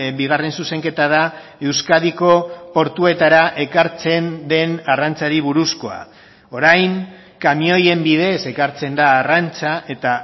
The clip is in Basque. bigarren zuzenketa da euskadiko portuetara ekartzen den arrantzari buruzkoa orain kamioien bidez ekartzen da arrantza eta